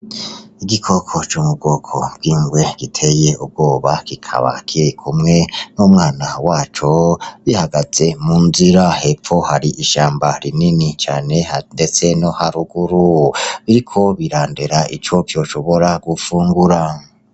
Igikoko c'umugoko bwingwe giteye ubwoba gikabake kumwe n'umwana waco bihagaze mu nzira hepfo hari ishamba rinini cane, ndetse no haruguru biriko birandera ico kyoshobora gupfungura.